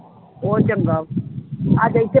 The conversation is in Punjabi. ਬਹੁਤ ਚੰਗਾ ਅੱਜ ਇੱਥੇ